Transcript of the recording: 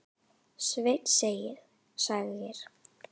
Svenni segir